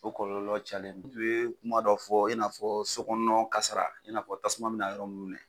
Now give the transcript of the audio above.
O kɔlɔlɔ cayalen i ye kuma dɔ fɔ i n'afɔ sokɔnɔna kasara i n'a fɔ tasuma bɛ na yɔrɔ minnu na